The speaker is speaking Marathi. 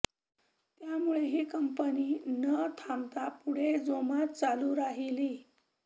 त्यामुळे ही कंपनी न थांबता पुढे जोमात चालू राहिली